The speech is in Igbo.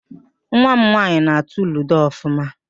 Nwa m nwaanyị na-atụ ludo ọfụma